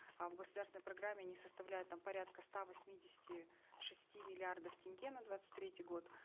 а в государственной программе не составляет там порядка ста восьмидесяти шести миллиардов тенге на двадцать третий год